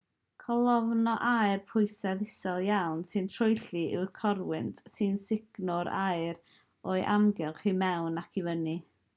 colofn o aer pwysedd isel iawn sy'n troelli yw corwynt sy'n sugno'r aer o'i amgylch i mewn ac i fyny